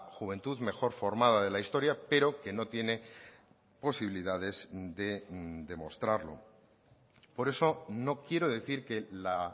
juventud mejor formada de la historia pero que no tiene posibilidades de demostrarlo por eso no quiero decir que la